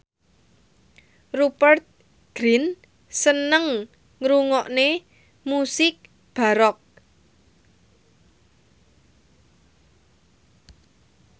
Rupert Grin seneng ngrungokne musik baroque